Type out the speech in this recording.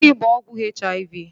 Gịnị bụ ọgwụ HIV?